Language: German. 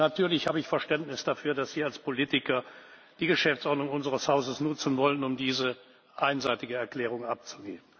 Natürlich habe ich Verständnis dafür, dass Sie als Politiker die Geschäftsordnung unseres Hauses nutzen wollen, um diese einseitige Erklärung abzugeben.